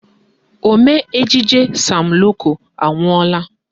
Omee ejije Sam Loco anwụọla